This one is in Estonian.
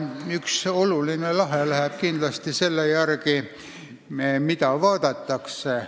Üks oluline veelahe läheb kindlasti selle järgi, mida vaadatakse.